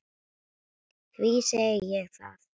Því segi ég það.